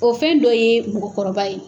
O fɛn dɔ ye mɔgɔkɔrɔba ye